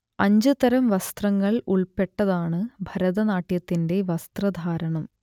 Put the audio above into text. അഞ്ച് തരം വസ്ത്രങ്ങൾ ഉൾപ്പെട്ടതാണ് ഭരതനാട്യത്തിന്റെ വസ്ത്രധാരണം